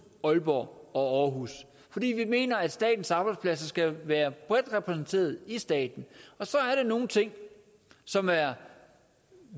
aalborg og aarhus fordi vi mener at statens arbejdspladser skal være bredt repræsenteret i staten og så er der nogle ting som er